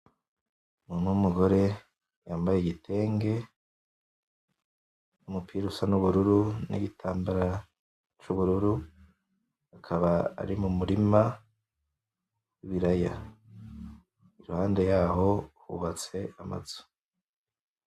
Umuntu wumugore yambaye igitenge n'umupira usa n'ubururu nigitambara c'ubururu akaba ari mumurima w'ibiraya iruhande yaho hubatse amazu